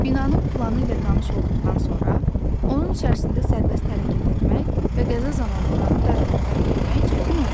Binanın planı ilə tanış olduqdan sonra, onun içərisində sərbəst hərəkət etmək və qəza zamanı oranı dərhal tərk etmək çətin olmur.